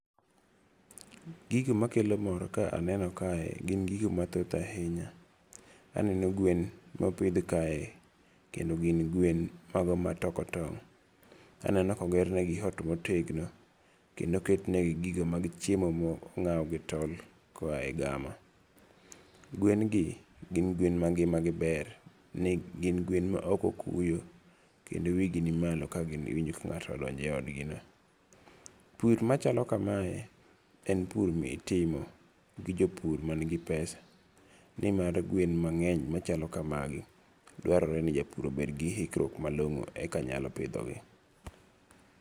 Gigo makelo mor ka aneno kae gin gigo mathoth ahinya. Aneno gwen mopidh kae kendo gin gwen mago matoko tong'. Aneno ka oger ne gi ot motegno. Kendo oket ne gi gigo mag chiemo ma ong'aw gi tol koa e gama. Gwen gi gin gwen ma ngima gi ber. Gin gwen ma ok okuyo kendo wi gi ni malo kagiwinjo ka ng'ato odonjo e odgi no. Pur machalo kamae en pur mitimo gi jopur man gi pesa. Nimar gwen mang'eny machalo kamagi dwarore ni japur obed gi hikruok malong'o eka nyalo pidhogi.